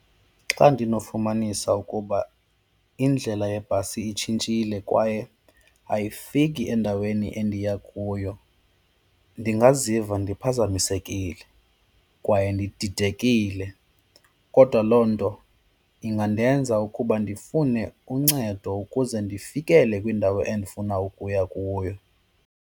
Xa ndinofumanisa ukuba indlela yebhasi itshintshile kwaye ayifiki endaweni endiya kuyo, ndingaziva ndiphazamisekile kwaye ndididekile kodwa loo nto ingandenza ukuba ndifune uncedo ukuze ndifikele kwiindawo endifuna ukuya kuyo.